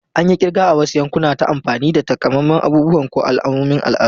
An yi kirga a wasu yankuna ta amfani da takamaiman abubuwa ko alamomin al'adu.